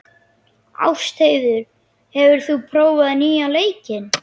Ástheiður, hefur þú prófað nýja leikinn?